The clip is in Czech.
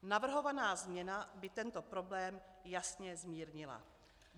Navrhovaná změna by tento problém jasně zmírnila.